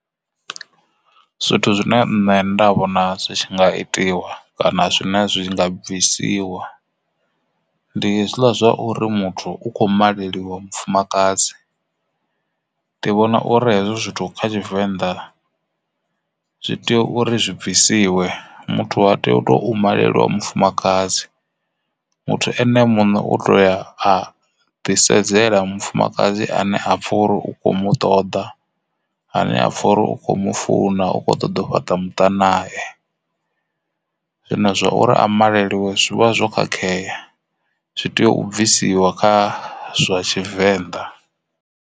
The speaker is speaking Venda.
Zwithu zwine nṋe nda vhona zwi tshi nga itiwa kana zwine zwi nga bvisiwa ndi hezwila zwa uri muthu u kho maleliwa mufumakadzi ndi vhona uri hezwo zwithu kha Tshivenḓa zwi tea uri zwi bvisiwe, muthu ha tei u to malwa mufumakadzi. Muthu ene muṋe u tou ya a ḓi sedzela mufumakadzi ane a pfha uri u kho mu ṱoḓa ane a apfha uri u kho mu funa u kho ṱoḓa u fhaṱa muṱa nae zwino zwa uri a maleliwe zwivha zwo khakhea zwi tea u bvisiwa kha zwa Tshivenḓa.